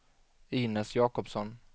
Inez Jacobsson